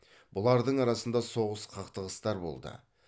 бұлардың арасында соғыс қақтығыстар болды